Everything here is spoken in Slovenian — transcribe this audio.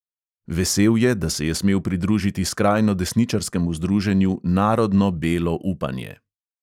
Vesel je, da se je smel pridružiti skrajno desničarskemu združenju narodno belo upanje.